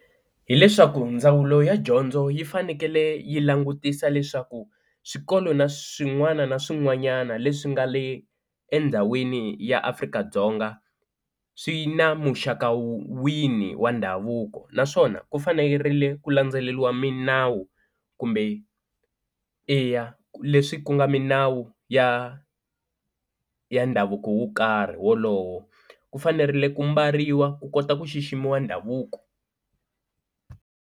Hi leswaku ndzawulo ya dyondzo yi fanekele yi langutisa leswaku swikolo na swin'wana na swin'wanyana leswi nga le endhawini ya Afrika-Dzonga swi na muxaka wini wa ndhavuko naswona ku fanerile ku landzeleriwa minawu kumbe eya leswi ku nga minawu ya ya ndhavuko wo karhi wolowo ku fanerile ku mbariwa ku kota ku xiximiwa ndhavuko.